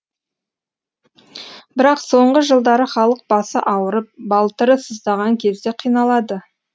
бірақ соңғы жылдары халық басы ауырып балтыры сыздаған кезде қиналады